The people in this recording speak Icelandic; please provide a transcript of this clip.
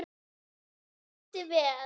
Njótið vel.